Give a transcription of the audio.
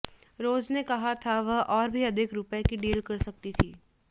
रोज ने कहा कि वह और भी अधिक रुपये का डील कर सकती थी